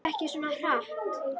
Hlauptu ekki svona hratt.